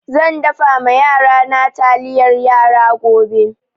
Zan dafa ma yarana taliyar yara gobe.